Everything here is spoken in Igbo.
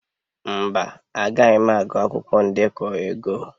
Mba, Agaghị m agụ akwụkwọ ndekọ ego.